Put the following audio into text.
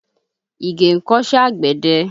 Ìgè ń kọ́ṣẹ́ àgbẹ̀dẹ